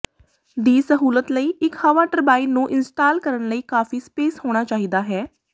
ਦੀ ਸਹੂਲਤ ਲਈ ਇੱਕ ਹਵਾ ਟਰਬਾਈਨ ਨੂੰ ਇੰਸਟਾਲ ਕਰਨ ਲਈ ਕਾਫ਼ੀ ਸਪੇਸ ਹੋਣਾ ਚਾਹੀਦਾ ਹੈ